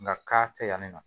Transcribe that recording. Nka k'a tɛ yan nin nɔ